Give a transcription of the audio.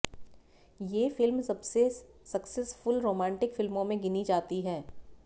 ये फिल्म सबसे successful romantic फिल्मों में गिनी जाती है